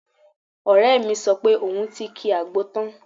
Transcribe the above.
Ọ̀rẹ́ mi sọ pé òun ti ki àgbo tán